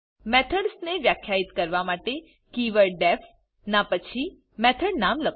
methods ને વ્યાખ્યાયિત કરવા માટે કીવર્ડ ડીઇએફ ના પછી મેથોડ નામ લખો